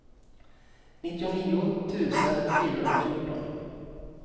nittionio tusen fyrahundrafjorton